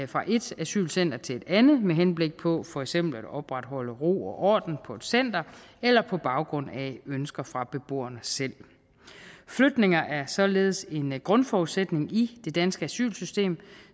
fra ét asylcenter til et andet med henblik på for eksempel at opretholde ro og orden på et center eller på baggrund af ønsker fra beboerne selv flytninger er således en grundforudsætning i det danske asylsystem